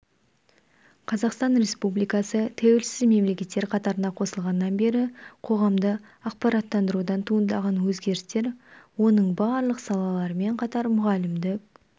қазақстан республикасы тәуелсіз мемлекеттер қатарына қосылғаннан бері қоғамды ақпараттандырудан туындаған өзгерістер оның барлық салаларымен қатар мұғалімдік